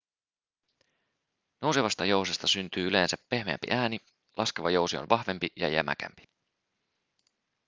nousevasta jousesta syntyy yleensä pehmeämpi ääni laskeva jousi on vahvempi ja jämäkämpi